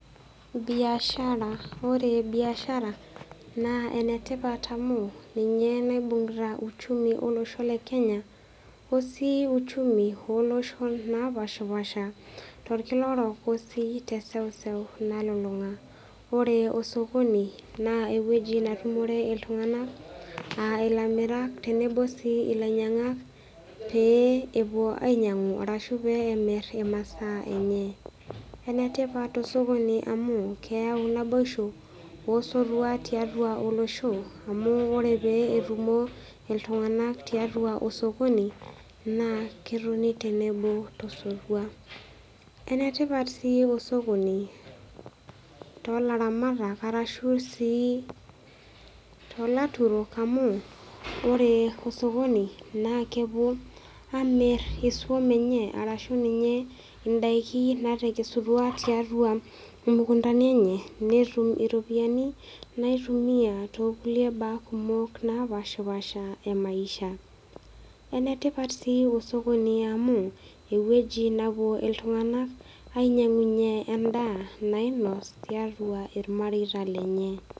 Biashara , ore biashara naa enetipat amu ninye naibungita uchumi olosho lekenya , osii uchumi napashapasha torkila orok osii teseuseu nalulunga . Ore osokoni naa ewueji natumore iltunganak aa ilamirak tenebo sii ilainyiangak pee epuo ainyiangu ashu pee emir imasaa enye . Enetipat osokoni amu keyau naboisho , osotua tiatua olosho , amuore pee etumo iltunganak tiatua osokoni naa ketoni tenebo tosotua. Enetipat sii osokoni tolaramatak arashu sii tolaturok amu ore osokoni naa kepuo amir iswam enye arashu ninye indaiki natekesutua tiatua imukuntani enye netum iropiyiani naitumia toonkulie baa kumok napashapasha emaisha . Enetipat sii osokoni amu ewueji napuo iltunganak ainyiangunyie endaa nainos tiatua irmareita lenye.